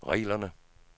reglerne